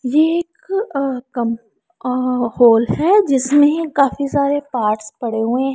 यह एक अ कम और हॉल है जिसमें काफी सारे पार्ट्स पड़े हुए--